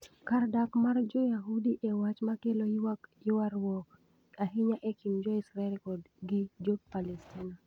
Kar dak mar Joyaudi e wach ma kelo ywaruok ahinya e kind Jo-Israel gi Jo-Palestina